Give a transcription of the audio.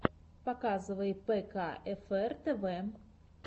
показывай пэкаэфэр тэвэ